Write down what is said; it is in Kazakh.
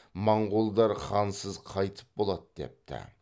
моңғолдар хансыз қайтіп болады депті